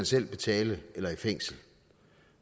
skal betale eller gå i fængsel